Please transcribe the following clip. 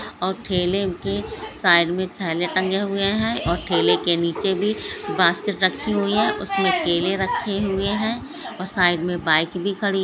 --और ठेले के साइड में थैले टंगे हुए हैं और ठेले के नीचे भी बास्केट रखी हुई हैं उसमें केले रखे हुए हैं और साइड में बाईक भी खड़ी--